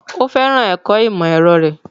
Ó fẹ́ràn ẹ̀kọ́ ìmọ̀-ẹ̀rọ rẹ̀.